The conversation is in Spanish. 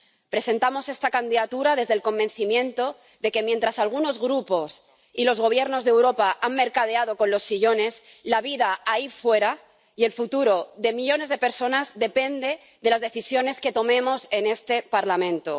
Presentamos esta candidatura desde el convencimiento de que, mientras algunos grupos y los gobiernos de Europa han mercadeado con los sillones, la vida ahí fuera y el futuro de millones de personas dependen de las decisiones que tomemos en este Parlamento.